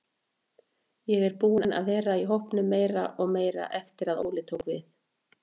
Ég er búinn að vera í hópnum meira og meira eftir að Óli tók við.